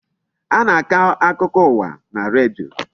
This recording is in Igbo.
A na-akọ akụkọ ụwa na redio.